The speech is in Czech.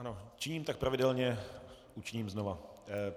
Ano, činím tak pravidelně, učiním znova.